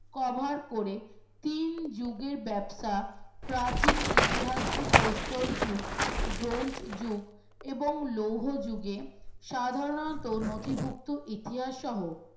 cover করে তিন যুগের ব্যবসা প্রাচীন ইতিহাসকে প্রস্তর যুগ ব্রোঞ্জ যুগ এবং লৌহ যুগে সাধারণত নথিভুক্ত ইতিহাস সহ